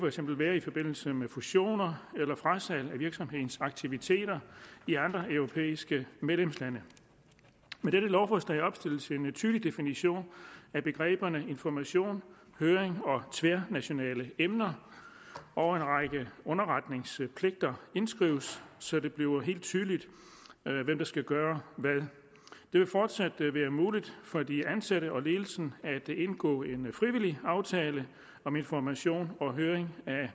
eksempel være i forbindelse med fusioner eller frasalg af virksomhedens aktiviteter i andre europæiske medlemslande med dette lovforslag opstilles en tydelig definition af begreberne information høring og tværnationale emner og en række underretningspligter indskrives så det bliver helt tydeligt hvem der skal gøre hvad det vil fortsat være muligt for de ansatte og ledelsen at indgå en frivillig aftale om information og høring